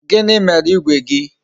Gịnị mere igwe gị?